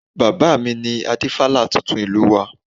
Bàbá mi ni Adífálà tuntun ìlú wa